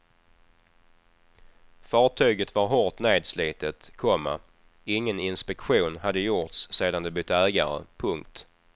Fartyget var hårt nedslitet, komma ingen inspektion hade gjorts sedan det bytt ägare. punkt